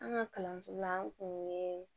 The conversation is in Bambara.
An ka kalanso la an kun ye